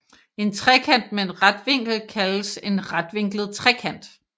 En trekant med en ret vinkel kaldes en retvinklet trekant